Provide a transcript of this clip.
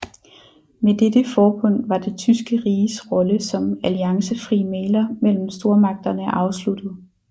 Med dette forbund var det tyske riges rolle som alliancefri mægler mellem stormagterne afsluttet